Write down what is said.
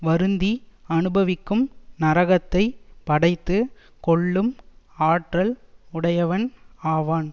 வருந்தி அனுபவிக்கும் நரகத்தைப் படைத்துக் கொள்ளும் ஆற்றல் உடையவன் ஆவான்